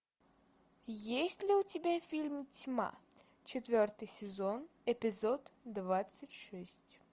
есть ли у тебя фильм тьма четвертый сезон эпизод двадцать шесть